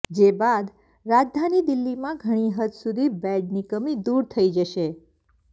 જે બાદ રાજધાની દિલ્હીમાં ઘણી હદ સુધી બેડની કમી દૂર થઇ જશે